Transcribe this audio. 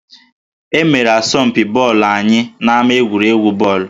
E mere asọmpi bọọlụ anyị n'ama egwuregwu bọọlụ